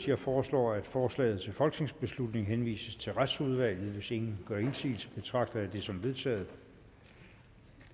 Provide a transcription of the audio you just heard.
jeg foreslår at forslaget til folketingsbeslutning henvises til retsudvalget hvis ingen gør indsigelse betragter jeg det som vedtaget